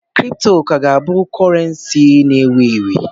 Bitcọịn ka ga-abụ criptocọrensii na ewu ewu.